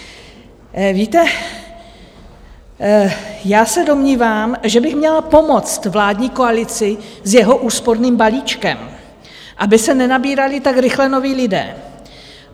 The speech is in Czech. Víte, já se domnívám, že bych měla pomoct vládní koalici s jejím úsporným balíčkem, aby se nenabírali tak rychle noví lidé.